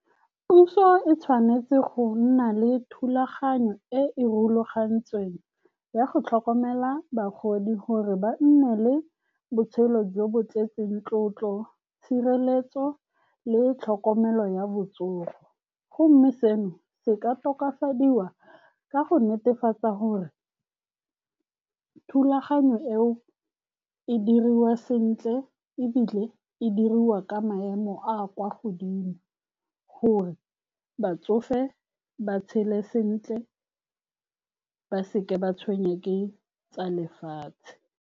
Puso e tshwanetse go nna le thulaganyo e e rulagantsweng ya go tlhokomela bagodi, gore ba nne le botshelo jo bo tletseng tlotlo, tshireletso le tlhokomelo ya botsogo. Go mme seno se ka tokafadiwa ka go netefatsa gore thulaganyo eo e diriwa sentle, ebile e diriwa ka maemo a a kwa godimo, gore batsofe ba tshele sentle, ba seka ba tshwenngwa ke tsa lefatshe.